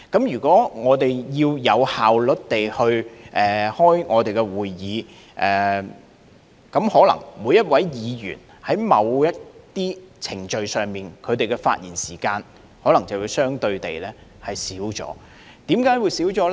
如果我們要有效率地舉行會議，可能在某些程序上，每一位議員的發言時間便會相對減少，為何減少呢？